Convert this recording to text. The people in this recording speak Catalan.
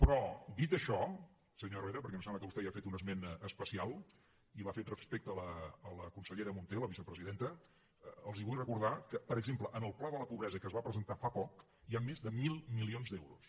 però dit això senyor herrera perquè em sembla que vostè n’ha fet un esment especial i l’ha fet respecte a la consellera munté la vicepresidenta els vull recordar que per exemple en el pla de la pobresa que es va presentar fa poc hi ha més de mil milions d’euros